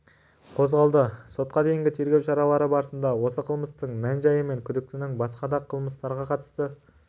қозғалды сотқа дейінгі тергеу шаралары барысында осы қылмыстың мән-жайы мен күдіктінің басқа да қылмыстарға қатысы